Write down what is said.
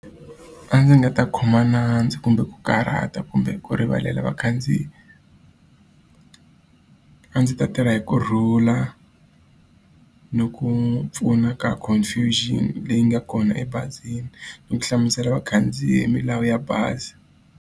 A ndzi nga ta khoma nandzu, kumbe ku karhata, kumbe ku rivalela vakhandziyi. A ndzi ta tirha hi ku rhula, ni ku pfuna ka confirmation leyi nga kona ebazini. Ni ku hlamusela vakhandziyi milawu ya bazi.